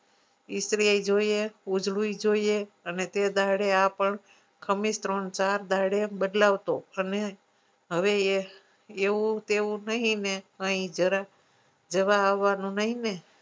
ઈસ્ત્રી જોઈએ ઉજળું એ જોઈએ અને તે દાડે આ પણ ખમીસ ત્રણ ચાર દાડે બદલાવતો અને હવે એ એવું તેવું નહી ને અહી જરા જવા આવવાનું નહી ને